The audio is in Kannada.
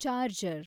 ಚಾರ್ಜರ್